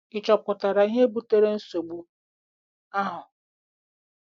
Ị̀ chọpụtara ihe butere nsogbu ahụ?